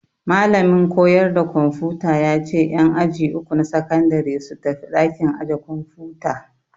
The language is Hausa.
Malamin koyarda kwamfuta ya ce en aji uku na sakandare su tafi ɗakin aje kwamfuta